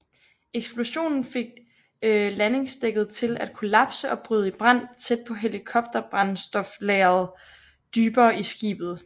Eksplosionen fik landingsdækket til at kollapse og bryde i brand tæt på helikopterbrændstoflageret dybere i skibet